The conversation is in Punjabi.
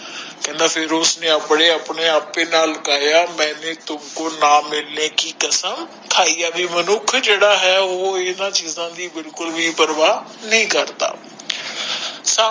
ਕਹਿੰਦਾ ਫਿਰ ਉਸਨੇ ਆਪਣੇ ਆਪਣੇ ਆਪੇ ਨਾਲ ਗਾਇਆ ਮੈਨੇ ਤੁਮਕੋ ਨਾ ਮਿਲਨੇ ਕਿ ਕਸਮ ਖਾਇ ਆ ਵੀ ਮਨੁੱਖ ਜੇੜਾ ਹੈ ਉਹ ਇਨ੍ਹਾਂ ਦੀ ਬਿਲਕੁਲ ਬੀ ਪ੍ਰਵਾਹ ਨਹੀਂ ਕਰਦਾ।